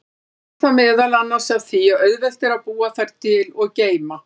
Stafar það meðal annars af því að auðvelt er að búa þær til og geyma.